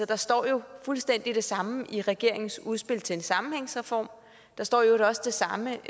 der står jo fuldstændig det samme i regeringens udspil til en sammenhængsreform og der står i øvrigt også det samme